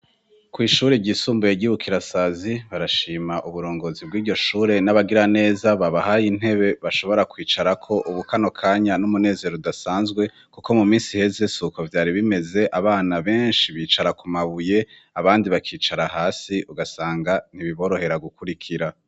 Kw'ishure ryisumbuye ry'i Bukirasazi barashima uburongozi bw'iryo shure n'abagira neza babahaye intebe bashobora kwicarako, ubu kano kanya n'umunezero udasanzwe kuko mu misi iheze suko vyari bimeze, abana benshi bicara ku mabuye abandi bakicara hasi ugasanga ntibiborohera gukurikira.